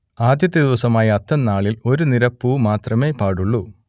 ആദ്യത്തെ ദിവസമായ അത്തംനാളിൽ ഒരു നിര പൂ മാത്രമേ പാടുള്ളൂ